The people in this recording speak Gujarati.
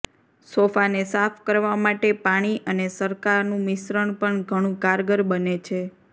સોફાને સાફ કરવા માટે પાણી અને સરકાનું મિશ્રણ પણ ઘણું કારગર બને છે